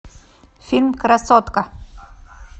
фильм красотка